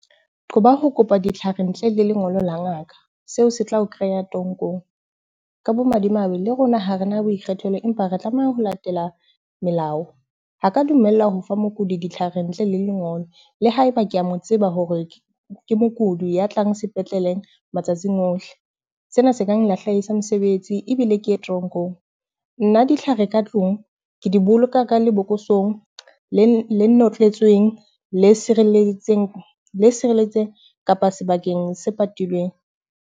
Qoba ho kopa ditlhare ntle le lengolo la ngaka, seo se tla o kreya toronkong. Ka bomadimabe, le rona ha re na boikgethelo, empa re tlameha ho latela melao. Ha ka dumella ho fa mokudi ditlhare ntle le lengolo le ha eba ke a mo tseba hore ke mokudi ya tlang sepetleleng matsatsing ohle. Sena se kang lahlehisa mosebetsi ebile ke ye toronkong. Nna ditlhare ka tlung ke di boloka ka lebokosong le notletsweng kapa sebakeng se patilweng.